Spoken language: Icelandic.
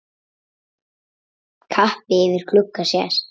Kappi yfir glugga sést.